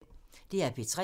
DR P3